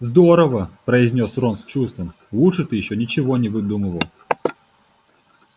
здорово произнёс рон с чувством лучше ты ещё ничего не выдумывал